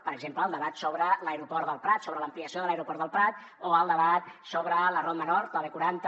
per exemple el debat sobre l’aeroport del prat sobre l’ampliació de l’aeroport del prat o el debat sobre la ronda nord o bquaranta